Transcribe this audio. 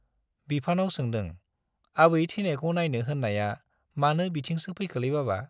बिफानाव सोंदों, आबै थैनायखौ नाइनो होन्नाया मानो बिथिंसो फैखोलै बाबा ?